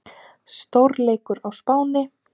Stórleikur á Spáni